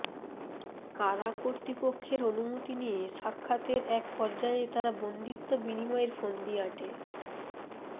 কারাকর্তৃপক্ষের অনুমতি নিয়ে সাক্ষাতের এক পর্যায়ে তারা বন্দিত্ব বিনিময়ের ফন্দি আঁটে